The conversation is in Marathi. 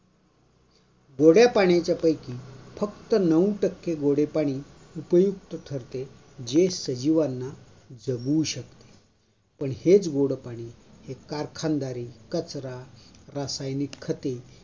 गोड्या पणीच्यापैकी फक्त नऊ टक्के गोडे पाणी उपयुक्त ठरते जे सजीवांना जागावू शकते पण हेच गोड पाणी कारखानदारी, कचरा, रासायनिक खते